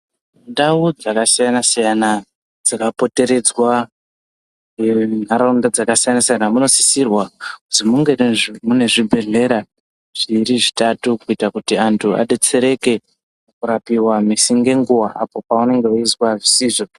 Ndaudzakasiyanasiyan dzakapotereda munofanirwa kuzvinge mune zvibhedhlera zviiri zvitatu kuti vanhu vabetsereke apo pavanenge vachizwa zvisizvo.